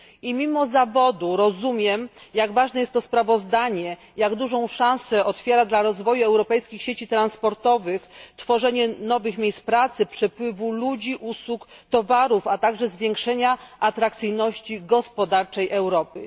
I mimo zawodu rozumiem, jak ważne jest to sprawozdanie, jak dużą szansę otwiera dla rozwoju europejskich sieci transportowych tworzenie nowych miejsc pracy, przepływu ludzi, usług, towarów, a także zwiększenia atrakcyjności gospodarczej Europy.